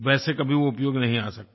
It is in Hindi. वैसे वो कभी उपयोग नहीं आ सकता